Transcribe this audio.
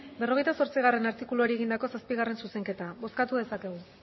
berrogeita zortzigarrena artikuluari egindako zazpigarrena zuzenketa bozkatu dezakegu